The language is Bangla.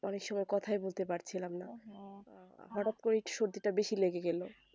অনেক সময় কথাই বলতে পারছিলাম না হঠাৎ করে সরধী টা বেশি লেগে গেলো